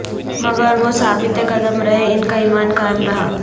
مگر وہ ثابت قدم رہے ان کا ایمان قا ئم رہا